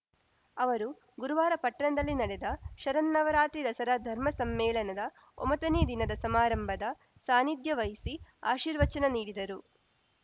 ಅವರು ಗುರುವಾರ ಪಟ್ಟಣದಲ್ಲಿ ನಡೆದ ಶರನ್ನವರಾತ್ರಿ ದಸರಾ ಧರ್ಮ ಸಮ್ಮೇಳನದ ಒಂಬತ್ತನೇ ದಿನದ ಸಮಾರಂಭದ ಸಾನ್ನಿಧ್ಯ ವಹಿಸಿ ಆಶೀರ್ವಚನ ನೀಡಿದರು